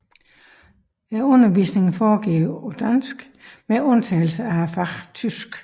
Undervisningen foregår på dansk med undtagelse af faget tysk